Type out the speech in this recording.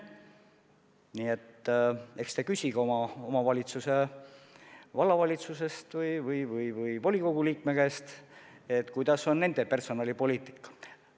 Nii et palun küsige oma omavalitsuse vallavalitsusest või volikogu liikmete käest, milline on nende personalipoliitika.